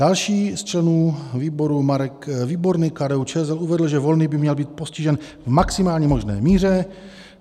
Další z členů výboru Marek Výborný, KDU-ČSL, uvedl, že Volný by měl být postižen v maximálně možné míře.